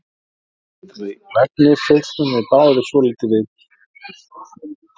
Með svolítilli lagni fitlum við báðir svolítið við stúlkuna og nælum auk þess í peningana.